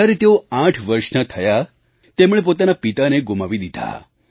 જ્યારે તેઓ આઠ વર્ષના થયા તેમણે પોતાના પિતાને ગુમાવી દીધા